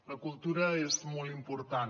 la cultura és molt important